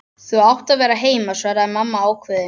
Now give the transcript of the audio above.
Þú átt að vera heima, svaraði mamma ákveðin.